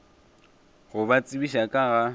go ba tsebiša ka ga